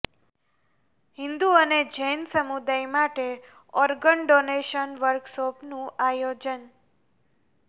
હિન્દુ અને જૈન સમુદાય માટે ઓર્ગન ડોનેશન વર્કશોપનું આયોજન